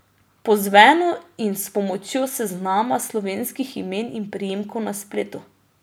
Po zvenu in s pomočjo seznama slovenskih imen in priimkov na spletu.